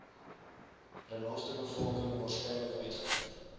renosterbevolking waarskynlik uitgevoer